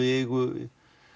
í eigu